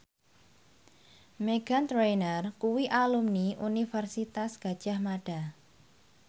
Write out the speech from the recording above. Meghan Trainor kuwi alumni Universitas Gadjah Mada